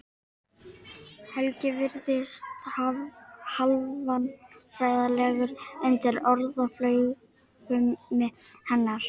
Helgi virðist hálfvandræðalegur undir orðaflaumi hennar.